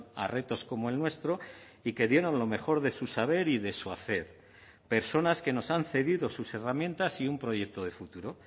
a retos como el nuestro y que dieron lo mejor de su saber y de su hacer personas que nos han cedido sus herramientas y un proyecto de futuro